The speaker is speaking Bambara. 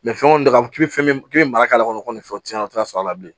fɛn kɔni ka k'i bɛ fɛn min k'i bɛ mara k'a kɔnɔ nin fɛn o tɛ sɔrɔ a la bilen